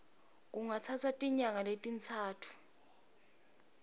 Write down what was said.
kungatsatsa tinyanga letintsatfu